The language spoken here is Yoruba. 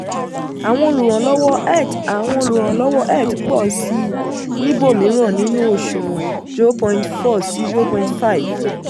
àwọn olùrànlọ́wọ́ eth àwọn olùrànlọ́wọ́ eth pọ̀ sí i níbòmíràn nínú òṣùwọ̀n zero point four sí zero point five